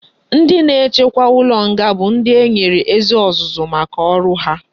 Ndi na echekwa ulo nga bu ndi enwere ezi ozuzu maka oru ha